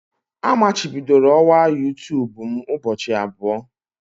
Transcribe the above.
Amachibidoro ọwa youtube m ụbọchị abụọ.